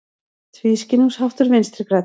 Tvískinnungsháttur Vinstri grænna